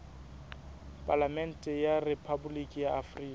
palamente ya rephaboliki ya afrika